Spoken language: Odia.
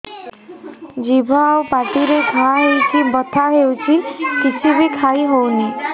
ଜିଭ ଆଉ ପାଟିରେ ଘା ହେଇକି ବଥା ହେଉଛି କିଛି ବି ଖାଇହଉନି